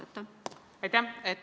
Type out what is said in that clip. Aitäh!